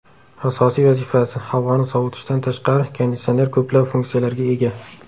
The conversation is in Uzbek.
Asosiy vazifasi - havoni sovutishdan tashqari, konditsioner ko‘plab funksiyalarga ega.